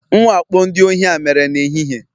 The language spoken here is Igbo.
Mwakpo ndị ohi a mere n'ehihie